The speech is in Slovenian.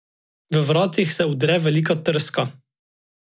V vratih se udre velika trska.